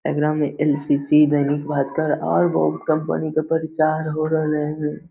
Exam में NCC. Dainik Bhaskar और बहुत कंपनी के प्रचार हो रहले है ।